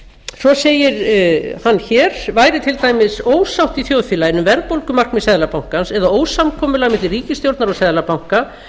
svo segir hann hér væri til dæmis ósátt í þjóðfélaginu um verðbólgumarkmið seðlabankans eða ósamkomulag milli ríkisstjórnar og seðlabanka